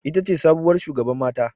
Ita ce sabuwar shugaban mata.